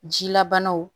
Jilabanaw